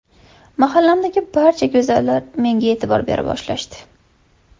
Mahallamdagi barcha go‘zallar menga e’tibor bera boshlashdi.